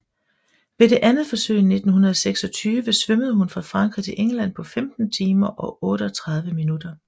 Ved det andet forsøg i 1926 svømmede hun fra Frankrig til England på 15 timer og 38 minutter